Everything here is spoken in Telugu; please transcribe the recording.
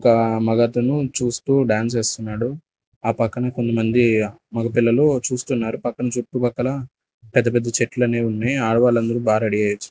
ఒక మగతను చూస్తూ డాన్స్ వేస్తున్నాడు ఆ పక్కన కొంతమంది మగ పిల్లలు చూస్తున్నారు పక్కన చుట్టుపక్కల పెద్ద పెద్ద చెట్లనేవి ఉన్నాయి ఆడవాళ్ళందరూ బా రెడీ అయిచ--